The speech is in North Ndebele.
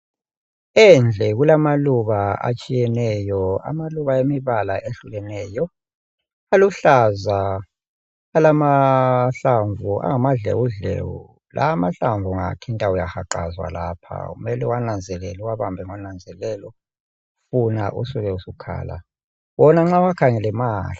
Endle kulamaluba etshiyeneyo amaluba emibala ehlukeneyo, aluhlaza alamahlamvu angamadlewudlewu, lawa amahlamvu ungawathinta uyahaqaza lapha. Kumele uwananzelele uwabambe ngonanzelelo, funa usuke usukhala, wona nxa uwakhangelele mahle.